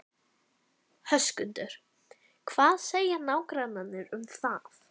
Höskuldur: Hvað segja nágrannarnir um það?